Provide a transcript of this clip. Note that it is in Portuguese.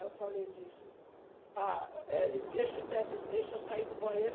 Aí eu falei, disse... Ah, Hélio, deixa eu ter deixa eu sair do banheiro.